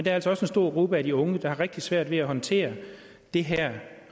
er altså også en stor gruppe af de unge der har rigtig svært ved at håndtere det her